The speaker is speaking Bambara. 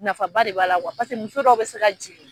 Nafaba de b'a la kuwa muso dɔw be se ka jigin